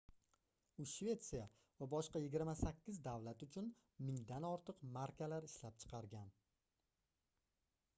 u shvetsiya va boshqa 28 davlat uchun mingdan ortiq markalar ishlab chiqargan